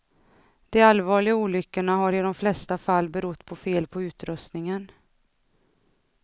De allvarliga olyckorna har i de flesta fall berott på fel på utrustningen.